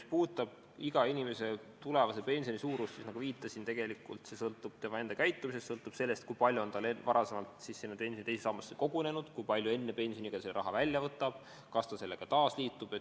Mis puudutab iga inimese tulevase pensioni suurust, siis nagu ma viitasin, tegelikult sõltub see tema enda käitumisest, see sõltub sellest, kui palju on tal varem teise sambasse kogunenud, kui palju ta enne pensioniiga raha välja võtab, kas ta selle sambaga taas liitub.